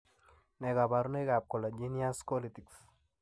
Nee kabarunoikab collagenous Colitis ?